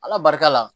Ala barika la